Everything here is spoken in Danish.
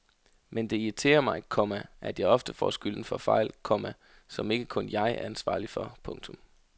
Men det irriterer mig, komma at jeg ofte får skylden for fejl, komma som ikke kun jeg er ansvarlig for. punktum